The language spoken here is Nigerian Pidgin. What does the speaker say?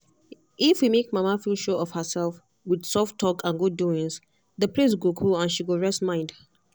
if we make mama feel sure of herself with soft talk and good doings the place go cool and she go rest mind.